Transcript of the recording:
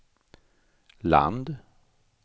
land